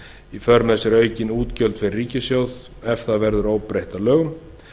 í för með sér aukin útgjöld fyrir ríkissjóð ef það verður óbreytt að lögum